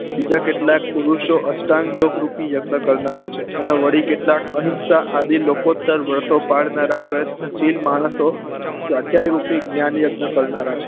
બીજા કેટલાક પુરુષો અષ્ટાંક યોગ રૂપી યજ્ઞ કરનાર છે અને વડી કેટલાક અહિંસા આદિ લોકો તરવરતો પડનારા પ્રયત્ન શીલ માણસો સ્વાધ્યાય રૂપી જ્ઞાન યજ્ઞ કરનારા છે